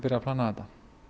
að plana þetta